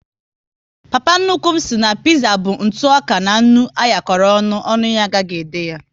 Papa nnukwu m sị na piza bụ ntụoka na nnu anyakoro ọṅụ, ọnụ ya agaghi ede ya